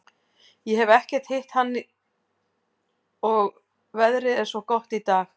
Ég hef ekkert hitt hann og veðrið er svo gott í dag.